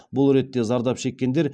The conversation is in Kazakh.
бұл ретте зардап шеккендер